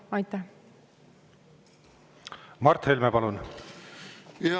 Mart Helme, palun!